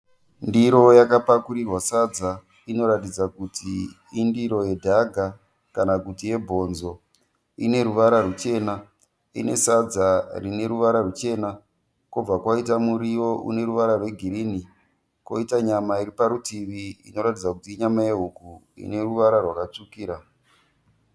Ndiro yakapakurirwa sadza inoratidza kuti indiro yedhaga kanakuti yebhonzo. Ineruvara rwuchena. Inesadza rineruvara ruchena kobva kwaita muriwo uneruvara rwegirini koita nyama iriparutivi inoratidza kuti inyama yehuku ineruvara rwakatsvukira.